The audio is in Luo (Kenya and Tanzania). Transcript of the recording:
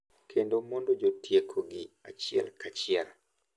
Kendo mondo jotieko gi achiel ka achiel .